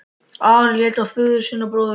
Ari leit á föður sinn og bróður.